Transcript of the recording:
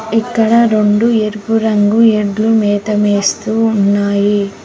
ఇక్కడ రొండు ఎరుపు రంగు ఎడ్లు మేత మేస్తూ ఉన్నాయి.